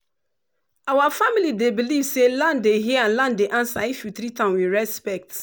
our family dey believe say land dey hear and dey answer if you treat am with respect.